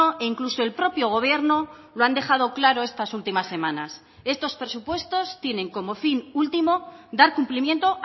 e incluso el propio gobierno lo han dejado claro estas últimas semanas estos presupuestos tienen como fin último dar cumplimiento